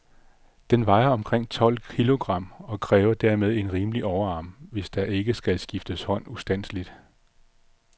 Den vejer omkring tolv kilogram, og kræver dermed en rimelig overarm, hvis der ikke skal skifte hånd ustandseligt.